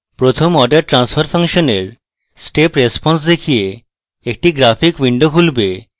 প্রথম order transfer function এর step response দেখিয়ে একটি graphic window খুলবে